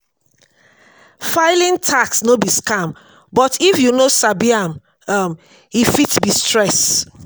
filing tax no be scam but if you no sabi am um e fit be stress.